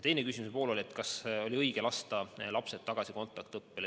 Teine küsimus oli, kas oli õige lasta lapsed tagasi kontaktõppele.